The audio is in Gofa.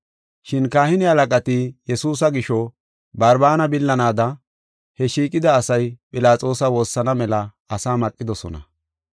Shin kahine halaqati Yesuusa gisho Barbaana billanaada, he shiiqida asay Philaxoosa woossana mela asaa maqidosona.